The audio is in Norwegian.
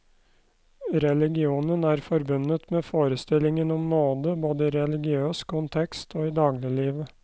Religionen er forbundet med forestillingen om nåde, både i religiøs kontekst og i dagliglivet.